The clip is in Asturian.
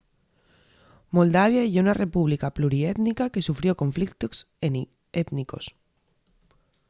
moldavia ye una república pluriétnica que sufrió conflictos étnicos